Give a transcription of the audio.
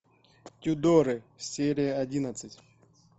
тюдоры серия одиннадцать